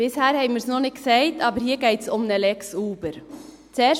Bisher haben wir es noch nicht gesagt, aber hier geht es um eine «Lex Uber».